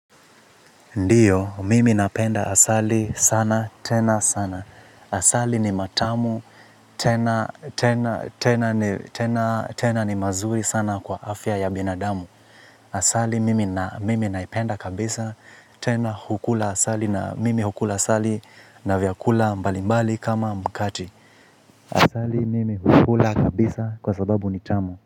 Ndiyo, mimi napenda asali sana, tena sana. Asali ni matamu. Tena ni mazuri sana kwa afya ya binadamu. Asali mimi naipenda kabisa, tena hukula asali na mimi hukula asali na vyakula mbali mbali kama mkate. Asali mimi hukula kabisa kwa sababu ni tamu.